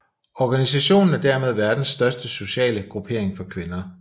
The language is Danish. Organisationen er dermed verdens største sociale gruppering for kvinder